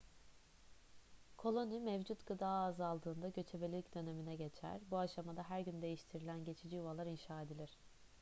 koloni mevcut gıda azaldığında göçebelik dönemine geçer bu aşamada her gün değiştirilen geçici yuvalar inşa edilir